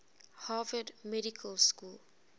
harvard medical school